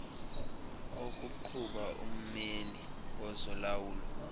okuqhuba ummeli wezolawulo